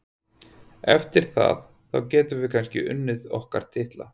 Eftir það, þá getum við kannski unnið okkar titla.